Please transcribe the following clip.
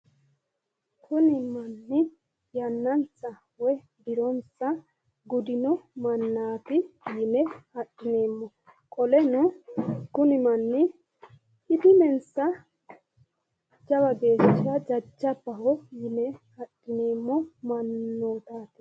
kuni manni yannansa woyi dironsa gudino mannaati yine adhineemmo qoleno kuni manni idimensa jawa geeshsha jajabbaho yine adhineemmo mannootaati.